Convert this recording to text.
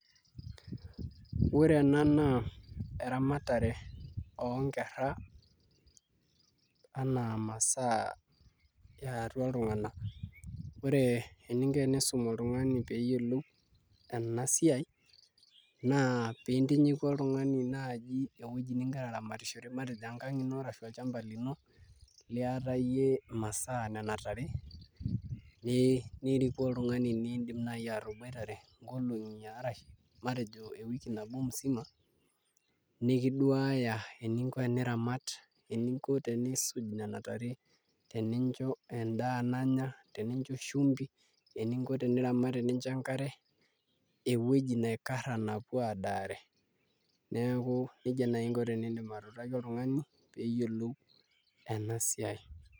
Ore ena naa eramatare oonkerra enaa imasaa eatua iltung'anak ore eninko piisum oltung'ani pee eyiolou ena siai naa pee intinyiku oltung'ani naaji ewueji nigira aramatishore matejo enkang' ino ashu olchamba lino liatayie imasaa nena tare niriku oltung'ani niidim naai ataboitare nkolong'i arashu ewiki nabo musima nikiduaya eninko teniramat eninko teniisuj nena tare tenincho endaa nanya teneincho shumbi eninko teniramat enincho enkare ewueji naikarra napuo aadaare neeku nijia naai inko teniutaki oltung'ani pee eyiolou ena siai.